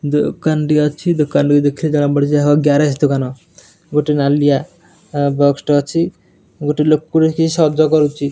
ଦୋକାନ୍ ଟି ଅଛି ଦୋକାନ୍ କୁ ଦେଖିଲେ ଜଣା ପଡୁଛି ଏହା ଏକ ଗ୍ୟାରେଜ ଦୋକାନ ଗୋଟେ ନାଲିଆ ବକ୍ସ ଟେ ଅଛି ଗୋଟେ ଲୋକ ଟେ କିଏ ସଜ କରୁଚି।